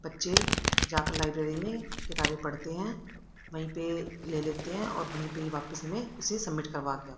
बच्चे जाकर लाइब्रेरी में किताबें पढ़ते हैं वहीं पे ले लेते हैं और वहीं पे वापीस हमे उसे सबमिट करवा के--